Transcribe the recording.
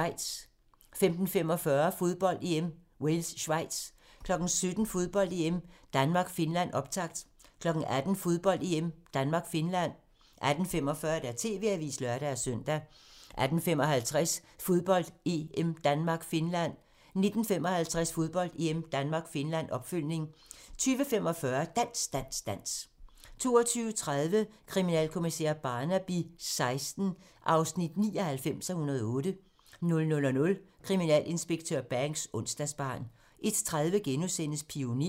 15:45: Fodbold: EM - Wales-Schweiz 17:00: Fodbold: EM - Danmark-Finland, optakt 18:00: Fodbold: EM - Danmark-Finland 18:45: TV-avisen (lør-søn) 18:55: Fodbold: EM - Danmark-Finland 19:55: Fodbold: EM - Danmark-Finland, opfølgning 20:45: Dans, dans, dans 22:30: Kriminalkommissær Barnaby XVI (99:108) 00:00: Kriminalinspektør Banks: Onsdagsbarn 01:30: Pioner *